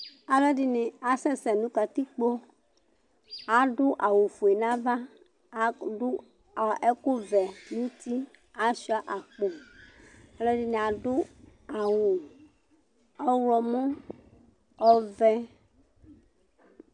alʊ ɛɗɩnɩ aƙasɛsɛ nʊ ƙatɩƙpo aɗʊ awʊ oƒʊe nʊ aʋa, ɛƙʊ ɔʋɛ nʊ ʊtɩ achʊa aƙpo alʊ ɛɗɩnɩ aɗʊ awʊ mʊtɩ gɓata, nʊ ɔʋɛ